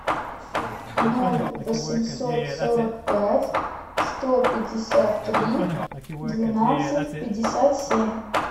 ноль восемьсот сорок пять сто пятьдесят три двенадцать пятьдесят семь